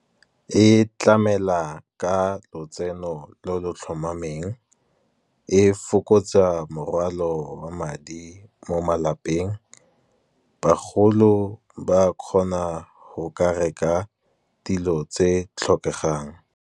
E tlamela ka lotseno lo lo tlhomameng, e fokotsa morwalo wa madi mo malapeng. Bagolo ba kgona go ka reka dilo tse tlhokegang.